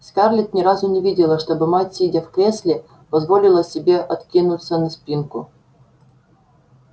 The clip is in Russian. скарлетт ни разу не видела чтобы мать сидя в кресле позволила себе откинуться на спинку